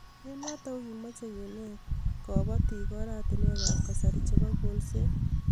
Eng' notok ko kimache kenet kabatik aratinwek ab kasari chebo kolset